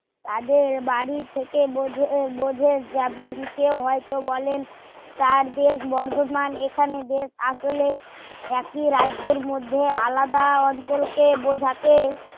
তাদের বাড়ি থেকে বঝে বোঝে যেমন কেউ হয় তো বলেন যাদের বর্তমান এখানেই দেশ আসলে একই রাজ্যের মধ্যে আলাদা অঞ্চল কে বোঝাতে